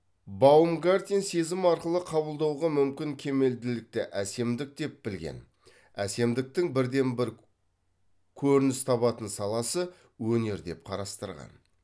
баумгартен сезім арқылы қабылдауға мүмкін кемелділікті әсемдік деп білген әсемдіктің бірден бір көрініс табатын саласы өнер деп қарастырған